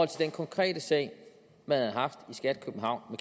til den konkrete sag man havde haft i skat københavn